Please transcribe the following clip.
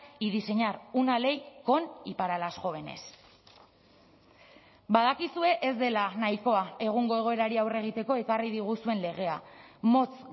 y diseñar una ley con y para las jóvenes badakizue ez dela nahikoa egungo egoerari aurre egiteko ekarri diguzuen legea motz